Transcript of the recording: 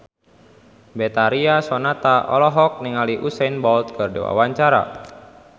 Betharia Sonata olohok ningali Usain Bolt keur diwawancara